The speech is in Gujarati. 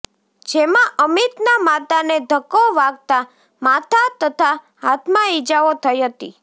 જેમાં અમીતનાં માતાને ધક્કો વાગતાં માથા તથા હાથમાં ઇજાઓ થઈ હતી